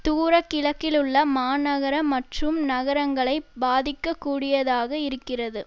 தூரகிழக்கிலுள்ள மாநகர மற்றும் நகரங்களை பாதிக்க கூடியதாக இருக்கிறது